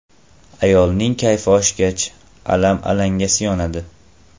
Ayolning kayfi oshgach, alam alangasi yonadi.